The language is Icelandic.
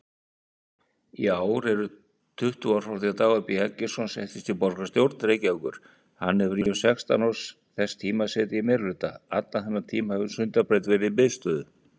Hvað er eiming?